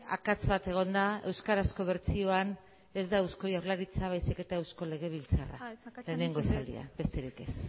akats bat egon da euskarazko bertsioan ez da eusko jaurlaritza baiziketa eusko legebiltzarra lehengo esaldia besterik ez